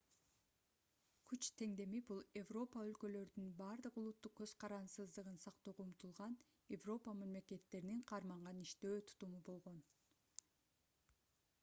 күч теңдеми бул европа өлкөлөрдүн бардык улуттук көз карансыздыгын сактоого умтулган европа мамлекеттеринин карманган иштөө тутуму болгон